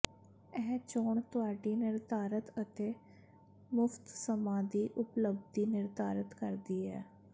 ਇਹ ਚੋਣ ਤੁਹਾਡੇ ਨਿਰਧਾਰਤ ਅਤੇ ਮੁਫਤ ਸਮਾਂ ਦੀ ਉਪਲਬੱਧੀ ਨਿਰਧਾਰਤ ਕਰਦੀ ਹੈ